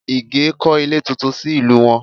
Ìgè kọ́ ilé tuntun sí ìlú wọn